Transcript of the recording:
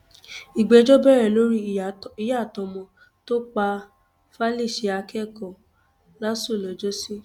ìgbẹjọ bẹrẹ lórí ìyá àtọmọ tó pa falise akẹkọọ láṣù lọjọsí